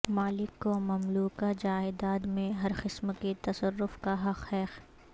مالک کو مملوکہ جائیداد میں ہر قسم کے تصرف کا حق ہے